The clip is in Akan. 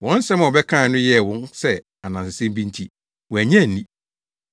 Wɔn nsɛm a wɔbɛkae no yɛɛ wɔn sɛ anansesɛm bi nti wɔannye anni.